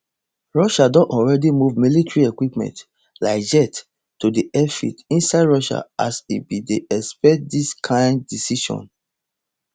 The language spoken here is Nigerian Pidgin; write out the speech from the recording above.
russia don already move military equipment like jets to airfields inside russia as e bin dey expect dis kain decision